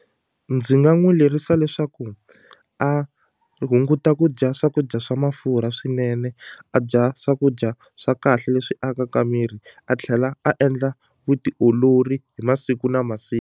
Ndzi nga n'wi lerisa leswaku a hunguta ku dya swakudya swa mafurha swinene a dya swakudya swa kahle leswi akaka miri a tlhela a endla vutiolori hi masiku na .